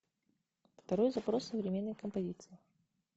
второй запрос современной композиции